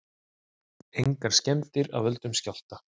Engar skemmdir af völdum skjálfta